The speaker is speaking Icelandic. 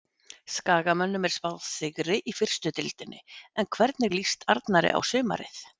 Skagamönnum er spáð sigri í fyrstu deildinni en hvernig líst Arnari á sumarið?